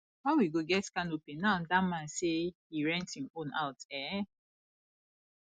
how we go get canopy now dat man say he rent im own out um